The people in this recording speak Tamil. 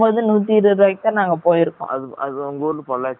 அது உங்க ஊரு பொல்லாச்சி ல கோயம்பதூர் ல இல்ல